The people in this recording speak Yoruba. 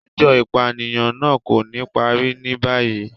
Ẹjọ ipaniyan naa ko ni pari ni bayi